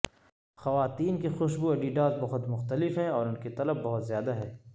خواتین کی خوشبو اڈیڈاس بہت مختلف ہیں اور ان کی طلب بہت زیادہ ہے